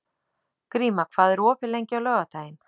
Gríma, hvað er opið lengi á laugardaginn?